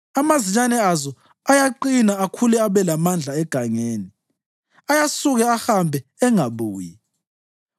Amazinyane azo ayaqina akhule abe lamandla egangeni; ayasuka ahambe angabuyi.